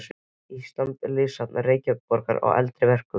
Íslands og Listasafns Reykjavíkurborgar á eldri verkum.